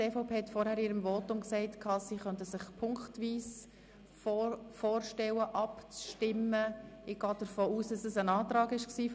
Die EVP-Fraktion hat vorhin in ihrem Votum gesagt, sie könne sich eine punktweise Abstimmung bei der Motion unter Traktandum 24 vorstellen.